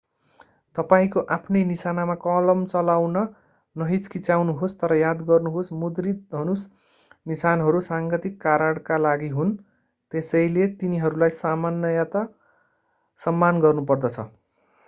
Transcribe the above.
तपाईंको आफ्नै निशानामा कलम चलाउन नहिचकिचाउनुहोस् तर याद गर्नुहोस् मुद्रित धनुष निशानहरू साङ्गीतिक कारणका लागि हुन् त्यसैले तिनीहरूलाई सामान्यतः सम्मान गर्नुपर्दछ